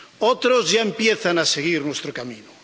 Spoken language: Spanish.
otros ya empiezan a seguir nuestro camino.